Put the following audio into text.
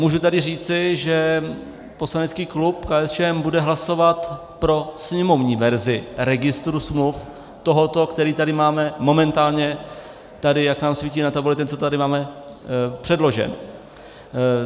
Můžu tady říci, že poslanecký klub KSČM bude hlasovat pro sněmovní verzi registru smluv, tohoto, který tady máme momentálně, tady jak nám svítí na tabuli, ten, co tady máme předložen.